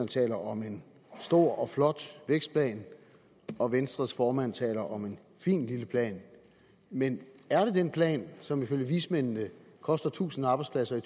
taler om en stor og flot vækstplan og venstres formand taler om en fin lille plan men er det den plan som ifølge vismændene koster tusind arbejdspladser i